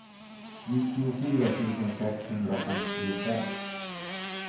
nittiofyra tusen sexhundrafemtiosex